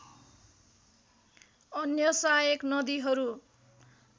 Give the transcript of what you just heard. अन्य सहायक नदीहरू